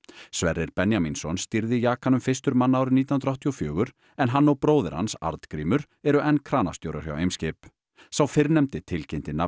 Sverrir Benjamínsson stýrði fyrstur manna árið nítján hundruð áttatíu og fjögur en hann og bróðir hans Arngrímur eru enn kranastjórar hjá Eimskip sá fyrrnefndi tilkynnti nafn